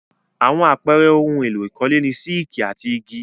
Àwọn àpẹẹrẹ ohun-èlò ìkọ́lé ni sííkì and igi.